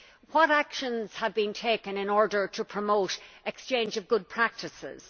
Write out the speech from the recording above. What actions have been taken in order to promote exchange of good practices?